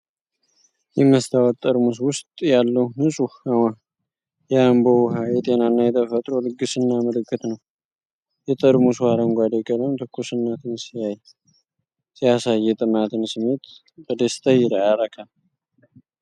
በመስታወት ጠርሙስ ውስጥ ያለው ንጹህ የአምቦ ውኃ የጤናና የተፈጥሮ ልግስና ምልክት ነው። የጠርሙሱ አረንጓዴ ቀለም ትኩስነትን ሲያሳይ፣ የጥማትን ስሜት በደስታ ያረካል!